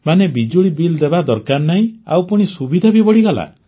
ମାନେ ବିଜୁଳି ବିଲ୍ ଦେବା ଦରକାର ନାହିଁ ଆଉ ପୁଣି ସୁବିଧା ବି ବଢ଼ିଗଲା